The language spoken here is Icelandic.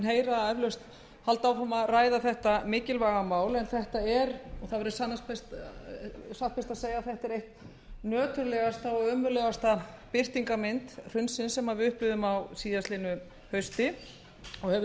heyra eflaust halda áfram að ræða þetta mikilvæga mál en þetta er satt best að segja ein nöturlegasta og ömurlegasta birtingarmynd hrunsins sem við upplifðum á síðastliðnu hausti og höfum